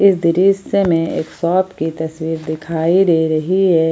इस दृश्य में एक शॉप की तस्वीर दिखाई दे रही है।